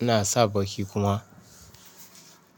ina sa baki kuma.